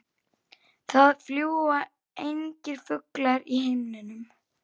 Það fljúga engir fuglar í himninum.